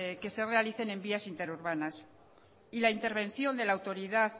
que se realicen en las vías interurbanas y la intervención de la autoridad